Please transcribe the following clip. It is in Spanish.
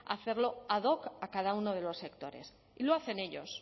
hacerlo ad hoc a cada uno de los sectores y lo hacen ellos